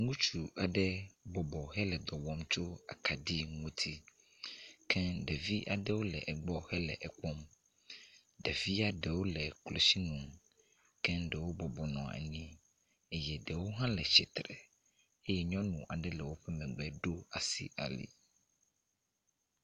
Ŋutsu aɖe bɔbɔ hele dɔ wɔm tso akaɖi ŋutsi ke ɖevi aɖewo le egbɔ hele ekpɔm. Ɖevia ɖewo le klotsinu keŋ ɖewo bɔbɔnɔ anyi eye ɖewo hã le tsitre eye nyɔnu aɖe le wokpɔm le be ɖo asi ali.